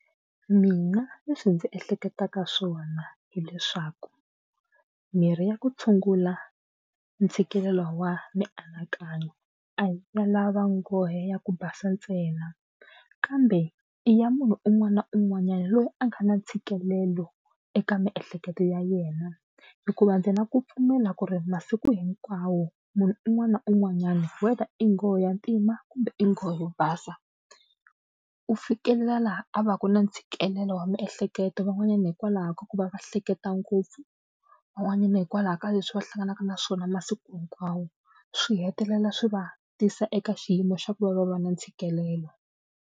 Mina leswi ndzi ehleketaka swona hileswaku mirhi ya ku tshungula ntshikelelo wa mianakanyo a hi ya lava nghohe ya ku basa ntsena kambe i ya munhu un'wana na un'wanyani loyi a nga na ntshikelelo eka miehleketo ya yena hikuva ndzi na ku pfumela ku ri masiku hinkwawo munhu un'wana na un'wanyana whether i nghohe ya ntima kumbe i nghohe yo basa u fikelela laha a va ka na ntshikelelo wa miehleketo van'wanyana hikwalaho ka ku va va hleketa ngopfu van'wanyana hikwalaho ka leswi va hlanganaka na swona masiku hinkwawo swi hetelela swi va tisa eka xiyimo xa ku va va va na ntshikelelo.